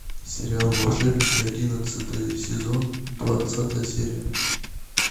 сериал волшебники одиннадцатый сезон двадцатая серия